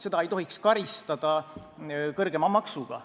Seda ei tohiks karistada kõrgema maksuga.